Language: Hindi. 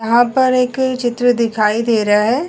यहां पर एक चित्र दिखाई दे रहा है।